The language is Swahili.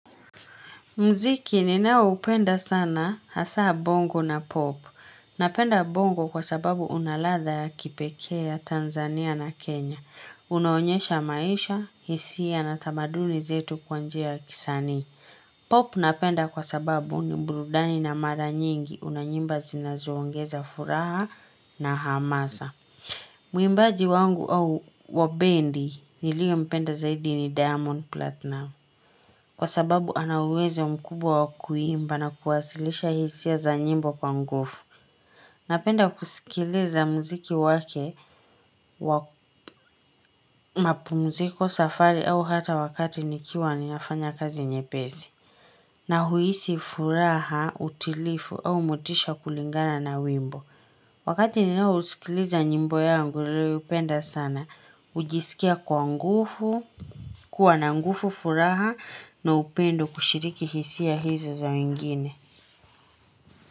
Muziki ninaoupenda sana hasa bongo na pop. Napenda bongo kwa sababu unaladha ya kipekee ya Tanzania na Kenya. Unaonyesha maisha, hisia na tamaduni zetu kwa njia kisanii. Pop napenda kwa sababu ni burudani na mara nyingi una nyimbo zinazoongeza furaha na hamasa. Mwimbaji wangu au wa bendi nilio mpenda zaidi ni diamond platinum Kwa sababu ana uwezo mkubwa wa kuimba na kuwasilisha hisia za nyimbo kwa nguvu Napenda kusikiliza muziki wake mapumziko safari au hata wakati nikiwa ninafanya kazi nyepesi na huisi furaha utulivu au motisha kulingana na wimbo Wakati ninaosikiliza nyimbo niliyoipenda sana, hujisikia kwa nguvu, kuwa na nguvu furaha na upendo kushiriki hisia hizi za wengine.